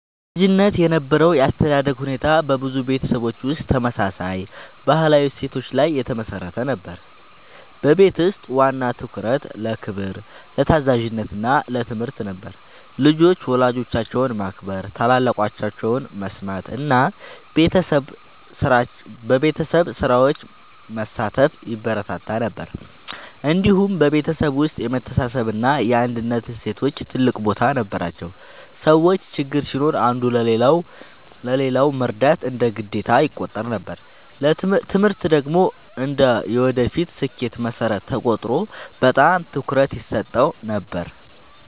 በልጅነት የነበረው የአስተዳደግ ሁኔታ በብዙ ቤተሰቦች ውስጥ ተመሳሳይ ባህላዊ እሴቶች ላይ የተመሠረተ ነበር። በቤት ውስጥ ዋና ትኩረት ለክብር፣ ለታዛዥነት እና ለትምህርት ነበር። ልጆች ወላጆቻቸውን ማክበር፣ ታላላቆቻቸውን መስማት እና በቤተሰብ ስራዎች መሳተፍ ይበረታታ ነበር። እንዲሁም በቤተሰብ ውስጥ የመተሳሰብ እና የአንድነት እሴቶች ትልቅ ቦታ ነበራቸው። ሰዎች ችግር ሲኖር አንዱ ለሌላው መርዳት እንደ ግዴታ ይቆጠር ነበር። ትምህርት ደግሞ እንደ የወደፊት ስኬት መሠረት ተቆጥሮ በጣም ትኩረት ይሰጠው ነበር።